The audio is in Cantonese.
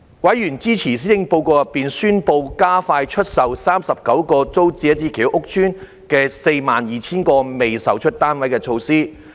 委員支持施政報告中宣布加快出售39個租者置其屋計劃屋邨的 42,000 個未售單位的措施。